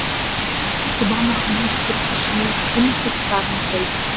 кейін жұбан ақын ескерткішіне гүл шоқтарын қойды